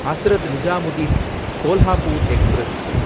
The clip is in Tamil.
ஹஸ்ரத் நிசாமுதீன் கோல்ஹாப்பூர் எக்ஸ்பிரஸ்